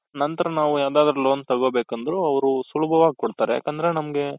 ನಂತರ ನಾವು ಏನಾದ್ರೂ loan ತಗೊಬೇಕಂದ್ರು ಅವ್ರು ಸುಲಭವಾಗ್ ಕೊಡ್ತಾರೆ ಯಾಕಂದ್ರೆ ನಮ್ಗೆ,